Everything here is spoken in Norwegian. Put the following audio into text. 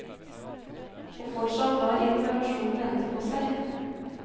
Og fortsatt lar informasjonen vente på seg.